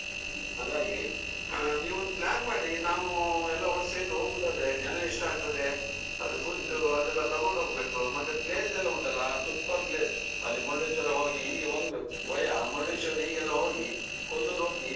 ಹಮ್ಮ್ ಹಾಗಾಗಿ ಅಹ್ ನೀವ್ ಒಂದು plan ಮಾಡಿ ನಾವ್ ಎಲ್ಲಾ ಒಟ್ ಸೇರಿ ಹೋಗೂದಾದ್ರೆ ಜನ ಎಷ್ಟಾಗ್ತದೆ ಅದು food ಅದೆಲ್ಲಾ ತಕೊಂಡು ಹೋಗ್ಬೇಕು ಮತ್ತೆ place ಎಲ್ಲಾ ಉಂಟಲ್ಲಾ super place ಅಲ್ಲಿ ಮುರ್ಡೇಶ್ವರ ಹೋಗಿ ಹೀಗೆ ಒಂದು ವಯಾ ಮುರ್ಡೇಶ್ವರ ಹೀಗೆಲ್ಲಾ ಹೋಗಿ ಕೊಲ್ಲೂರು ಹೋಗಿ.